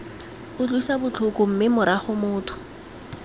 utlwisa botlhoko mme morago motho